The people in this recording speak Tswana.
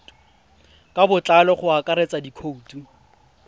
ka botlalo go akaretsa dikhoutu